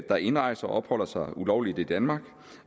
der indrejser opholder sig ulovligt i danmark